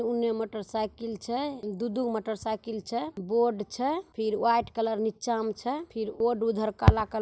ओने मोटरसाइकिल छे दू-दू गो मोटरसाइकिल छे बोर्ड छे फिर वाइट कलर नीचा में छे फिर बोर्ड उधर काला कलर --